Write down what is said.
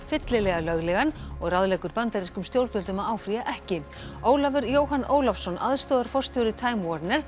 fyllilega löglegan og ráðleggur bandarískum stjórnvöldum að áfrýja ekki Ólafur Jóhann Ólafsson aðstoðarforstjóri time